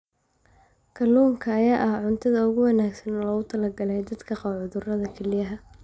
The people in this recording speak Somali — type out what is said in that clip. Kalluunka ayaa ah cuntada ugu wanaagsan ee loogu talagalay dadka qaba cudurrada kelyaha.